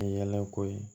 Yɛlɛ ko ye